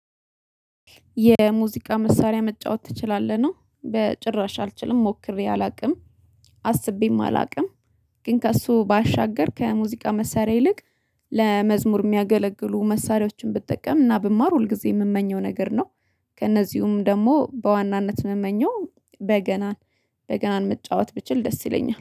የሙዚቃ መሳሪያ መጫወት ትችላለህ ነው? በጭራሽ አልችልም ሞክሬ አላውቅም አስቤም አላውቅም ግን ከእሱ ባሻገር ከሙዚቃ መሳሪያ ይልቅ ለመዝሙር የሚያገለግሉ መሳሪያዎችን ብጠቀምና ብማር ሁልጊዜ የምመኘው ነገር ነው። ከእነዚህም ደግሞ በዋናነት የምመኘው በገናን በገናን መጫወት ብችል ደስ ይለኛል